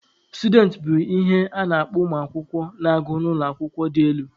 Students bụ ihe a na-akpọ ụmụ akwụkwọ na-agụ n'ụlọ akwụkwọ dị elu.